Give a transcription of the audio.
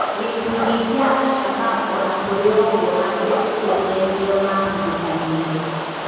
gĩkundi kĩa al-shabab ona kũrĩ ũgũo matietĩkĩrire nĩo mahithũkanĩire